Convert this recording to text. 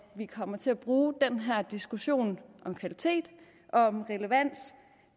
vi kommer til at bruge den her diskussion om kvalitet og om relevans